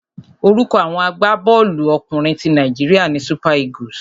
Orúkọ àwọn agbábọ́ọ̀lú ọkùnrin ti Nàíjíríà ni Super Eagles.